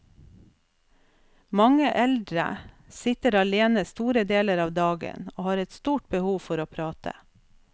Mange eldre sitter alene store deler av dagen og har et stort behov for å prate.